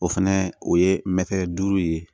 O fɛnɛ o ye mɛtiri duuru ye